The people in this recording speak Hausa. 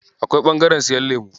Akwai ɓangaren siyan lemu.